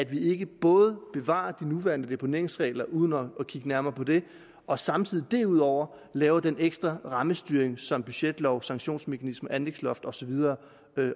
vi ikke både bevarer de nuværende deponeringsregler uden at kigge nærmere på dem og samtidig derudover laver den ekstra rammestyring som budgetlov sanktionsmekanismer anlægsloft og så videre